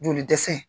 Joli dɛsɛ